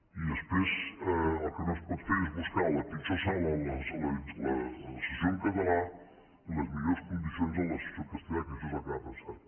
i després el que no es pot fer és buscar la pitjor sala per a la sessió en català i les millors condicions per a la sessió en castellà que això és el que ha passat